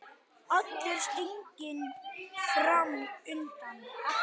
Allur stiginn fram undan.